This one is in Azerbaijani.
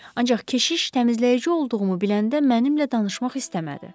Ancaq keşiş təmizləyici olduğumu biləndə mənimlə tanışmaq istəmədi.